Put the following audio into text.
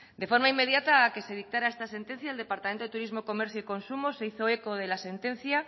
de forma inmediata a que se dictara esta sentencia el departamento de turismo comercio y consumo se hizo eco de la sentencia